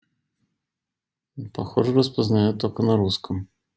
ну похоже распознаёт только на русском